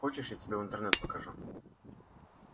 хочешь я тебе интернет покажу